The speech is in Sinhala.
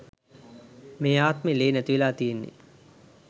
මේ ආත්මෙ ලේ නැතිවෙලා තියෙන්නෙ.